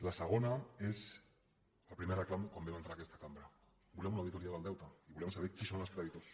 la segona és el primer reclam quan vam entrar en aquesta cambra volem una auditoria del deute i volem saber qui en són els creditors